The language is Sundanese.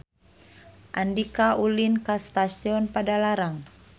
Andika ulin ka Stasiun Padalarang